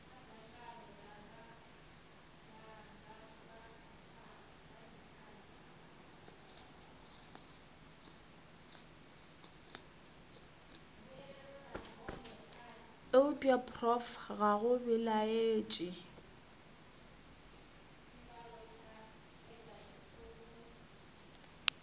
eupša prof ga go belaetše